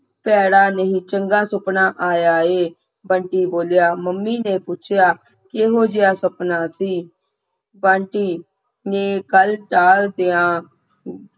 ਪੈੜਾਂ ਨਹੀ ਚੰਗਾ ਸੁਪਨਾ ਆਇਆ ਹੈ ਬੰਟੀ ਬੋਲਿਆ ਮੰਮੀ ਨੇ ਪੁੱਛਿਆ ਕੀ ਹੋਗਿਆ ਸੁਪਨਾ ਸੀ ਬੰਟੀ ਨੇ ਗੱਲ ਟਾਲ ਦੇਵਾਂ